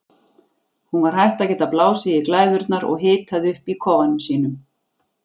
Hún var hætt að geta blásið í glæðurnar og hitað upp í kofanum sínum.